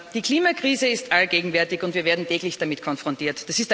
Die Klimakrise ist allgegenwärtig, und wir werden täglich damit konfrontiert.